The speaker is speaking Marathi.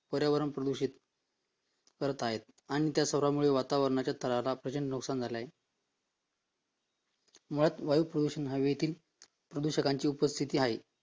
पर्यावरण प्रदूषित करत आहे आणि त्या सर्वांमुळे वातावरणाच्या तरारा नऊ संग्रहालय